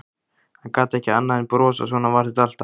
Hann gat ekki annað en brosað, svona var þetta alltaf.